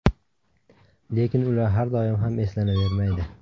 Lekin ular doim ham eslanavermaydi.